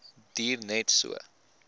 duur net so